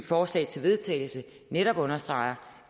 forslag til vedtagelse netop understreger